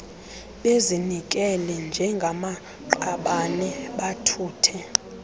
bezinikele njengamaqabane bathuthe